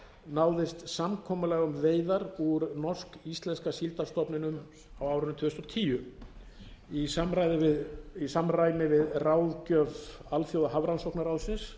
náðist samkomulag um veiðar úr norsk íslenska síldarstofninum á árinu tvö þúsund og tíu í samræmi við ráðgjöf alþjóðahafrannsóknaráðsins